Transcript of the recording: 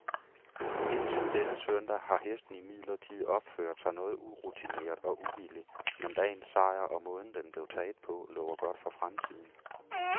Indtil denne søndag har hesten imidlertid opført sig noget urutineret og uvillig, men dagens sejr, og måden den blev taget på, lover godt for fremtiden.